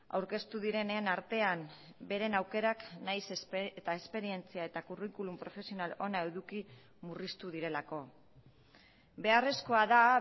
aurkeztu direnen artean beren aukerak nahiz eta esperientzia eta kurrikulum profesional ona eduki murriztu direlako beharrezkoa da